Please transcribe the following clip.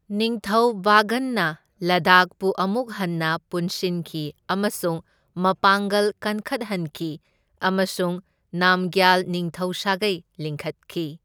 ꯅꯤꯡꯊꯧ ꯚꯒꯟꯅ ꯂꯗꯥꯈꯄꯨ ꯑꯃꯨꯛ ꯍꯟꯅ ꯄꯨꯟꯁꯤꯟꯈꯤ ꯑꯃꯁꯨꯡ ꯃꯄꯥꯡꯒꯜ ꯀꯟꯈꯠꯍꯟꯈꯤ ꯑꯃꯁꯨꯡ ꯅꯥꯝꯒ꯭ꯌꯥꯜ ꯅꯤꯡꯊꯧ ꯁꯥꯒꯩ ꯂꯤꯡꯈꯠꯈꯤ꯫